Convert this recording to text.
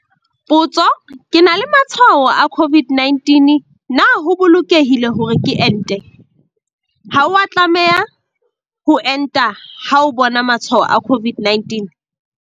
Potso- Ke na le matshwao a COVID-19 na ho bolokehile hore ke ente? Ha o a tlameha ho enta ha o bona matshwao a COVID-19.